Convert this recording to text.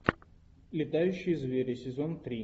летающие звери сезон три